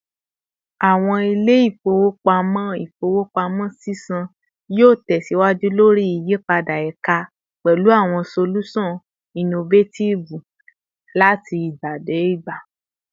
Awọn ile-ifowopamọ ifowopamọ sisan yoo tẹsiwaju lori iyipada eka pẹlu awọn solusan innovatibe lati igba de igba